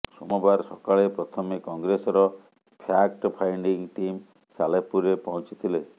ସୋମବାର ସକାଳେ ପ୍ରଥମେ କଂଗ୍ରେସର ଫ୍ୟାକ୍ଟ ଫାଇଣ୍ଡିଂ ଟିମ୍ ସାଲେପୁରରେ ପହଞ୍ଚିଥିଲେ